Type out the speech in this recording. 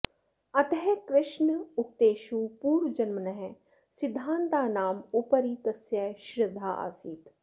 अतः कृष्णोक्तेषु पुर्वजन्मनः सिद्धान्तानाम् उपरि तस्य श्रद्धा आसीत्